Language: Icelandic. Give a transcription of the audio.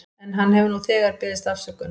En hann hefur nú þegar beðist afsökunar.